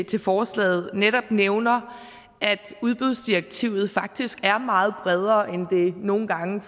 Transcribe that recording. til forslaget netop nævner at udbudsdirektivet faktisk er meget bredere end det nogle gange